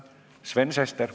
Sven Sester.